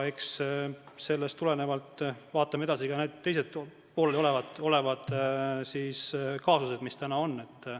Eks sellest tulenevalt vaatame edasi ka teisi pooleliolevaid kaasuseid.